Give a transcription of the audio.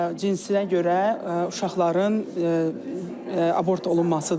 Cinsinə görə uşaqların abort olunmasıdır.